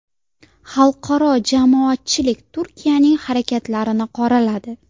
Xalqaro jamoatchilik Turkiyaning harakatlarini qoraladi.